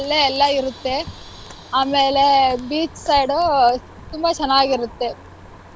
ಅಲ್ಲೇ ಎಲ್ಲಾ ಇರುತ್ತೆ. ಆಮೇಲೆ beach side ಅಹ್ ತುಂಬಾ ಚೆನ್ನಾಗಿರುತ್ತೆ.